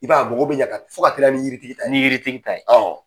I b'a ye a mago bɛ ɲan ka tɛmɛ fɔ k'a teliya ni yiri tigi ta ye, ni yiri tigi ta ye.